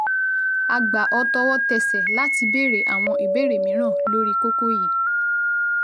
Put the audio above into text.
A gbà ọ́ tọwọ́tẹsẹ̀ láti béèrè àwọn ìbéèrè mìíràn lórí kókó yìí